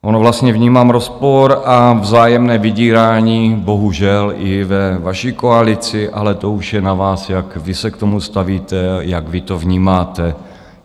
Ono vlastně vnímám rozpor a vzájemné vydírání bohužel i ve vaší koalici, ale to už je na vás, jak vy se k tomu stavíte, jak vy to vnímáte.